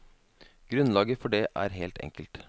Grunnlaget for det er helt enkelt.